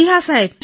હા જી